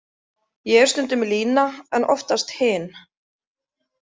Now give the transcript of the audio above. Ég er stundum Lína en oftast hin.